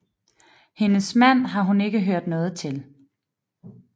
Hendes mand har hun ikke hørt noget til